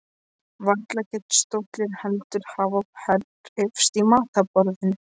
Varla gat stóllinn heldur hafa hreyfst í matarboðinu.